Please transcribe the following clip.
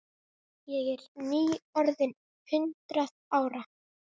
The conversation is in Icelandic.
Ég er nýorðin hundrað ára.